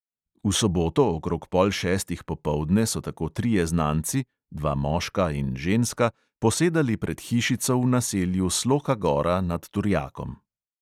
V soboto okrog pol šestih popoldne so tako trije znanci, dva moška in ženska, posedali pred hišico v naselju sloka gora nad turjakom.